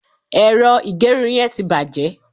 ero igerun yen ti baje